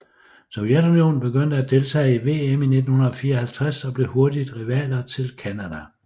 Sovetunionen begyndte at deltage i VM i 1954 og blev hurtigt rivaler til Canada